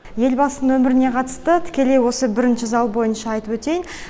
елбасының өміріне қатысты тікелей осы бірінші зал бойынша айтып өтейін